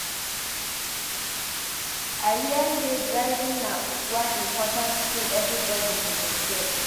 I hear sey driving na one important skill everybody suppose get.